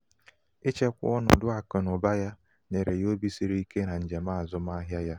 ichekwa ọnọdụ akụnaụba ya nyere ya obi siri ike na njem azụmahịa ya